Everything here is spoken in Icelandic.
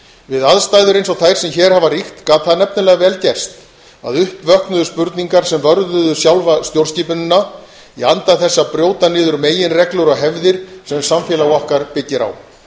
við aðstæður eins og þær sem hér hafa ríkt gat það nefnilega vel gerst að upp vöknuðu spurningar sem vörðuðu sjálfa stjórnskipanina í anda þess að brjóta niður meginreglur og hefðir sem samfélag okkar byggir á